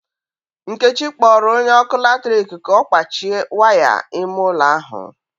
Nkechi kpọrọ onye ọkụ latrik ka ọ kpachie waya ịme ụlọ ahu.